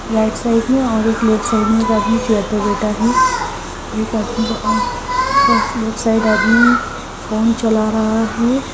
Right side में और एक लेफ्ट साइड में एक आदमी फ्लोर पे बैठा है लेफ्ट साइड आदमी फोन चला रहा है।